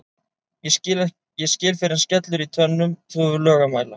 ég skil fyrr en skellur í tönnum þú hefur lög að mæla